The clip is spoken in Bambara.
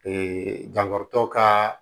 dankaritɔ ka